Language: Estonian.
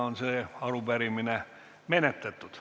See arupärimine on menetletud.